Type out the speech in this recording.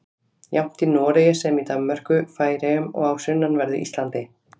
Jafnt í Noregi sem í Danmörku, Færeyjum og á sunnanverðu Íslandi.